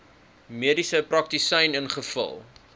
mediese praktisyn ingevul